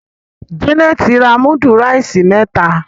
Janet rà mudu rice meta.